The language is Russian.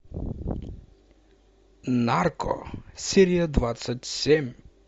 нарко серия двадцать семь